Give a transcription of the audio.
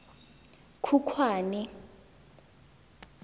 khukhwane